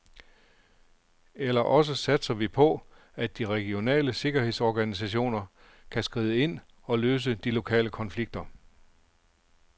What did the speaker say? Eller også satser vi på, at de regionale sikkerhedsorganisationer kan skride ind og løse de lokale konflikter.